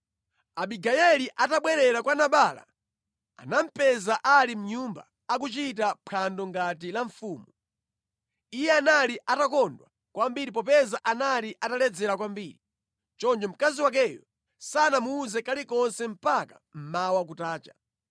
Abigayeli atabwerera kwa Nabala anamupeza ali mʼnyumba akuchita mphwando ngati la mfumu. Iye anali atakondwa kwambiri popeza anali ataledzera kwambiri. Choncho mkazi wakeyo sanamuwuze kalikonse mpaka mmawa kutacha.